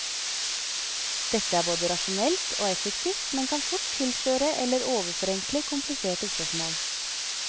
Dette er både rasjonelt og effektivt, men kan fort tilsløre eller overforenkle kompliserte spørsmål.